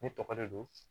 Ne tɔgɔ de don